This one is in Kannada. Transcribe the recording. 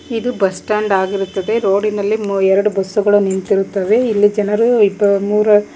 ಇದು ಬಸ್ ಸ್ಟ್ಯಾಂಡ್ ಆಗಿರುತ್ತದೆ ರೋಡಿನಲ್ಲಿ ಎರಡು ಬಸ್ಸುಗಳು ನಿಂತಿರುತ್ತವೆ ಇಲ್ಲಿ ಜನರು ಇಬ್ಬರು ಮೂರು--